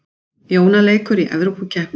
Jóna leikur í Evrópukeppni